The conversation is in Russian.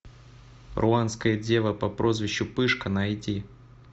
руанская дева по прозвищу пышка найди